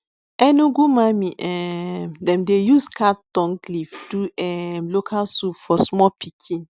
enugu mami um dem dey use cat tongue leaf do um local soup for small pikin